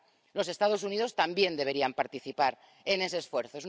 Los Estados Unidos también deberían participar en ese esfuerzo.